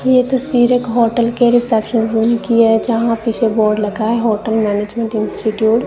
ये तस्वीर होटल के रिसेप्शन रूम की है जहां पीछे बोर्ड लगा होटल मैनेजमेंट इंस्टीट्यूट --